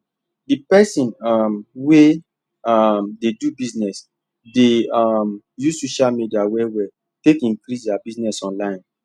the person um wey um dey do bussiness dey um use social media well well take increase their bussiness online